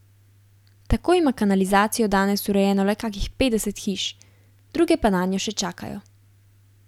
Tako ima kanalizacijo danes urejeno le kakih petdeset hiš, druge pa nanjo še čakajo.